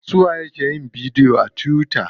Suwa ye ke yin bidiyo a tuwita?